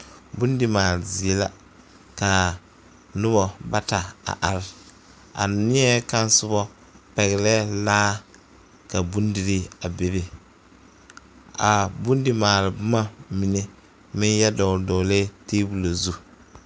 Bondimaale zie la ka noba bata a are a neɛ kaŋ soba pɛglɛɛ laa ka bondirii a bebe a bondimaale boma mine meŋ yɛ dɔgle dɔglɛɛ tabolɔ zu.